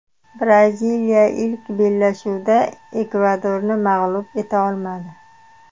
Braziliya ilk bellashuvda Ekvadorni mag‘lub eta olmadi.